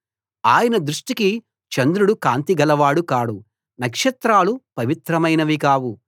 ఆయన దృష్టికి చంద్రుడు కాంతి గలవాడు కాడు నక్షత్రాలు పవిత్రమైనవి కావు